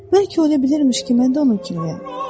Bəlkə olabilərmiş ki, mən də onun kimiyəm.